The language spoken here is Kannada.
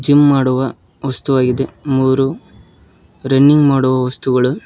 ಜಿಮ್ ಮಾಡುವ ವಸ್ತು ಆಗಿದೆ ಮೂರು ರನ್ನಿಂಗ್ ಮಾಡುವ ವಸ್ತುಗಳು--